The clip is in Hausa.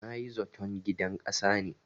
Na yi zaton gidan ƙasa ne.